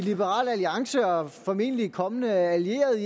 i liberal alliance og formentlig kommende allierede i